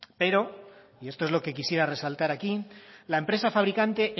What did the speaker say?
pero y esto es lo que quisiera resaltar aquí la empresa fabricante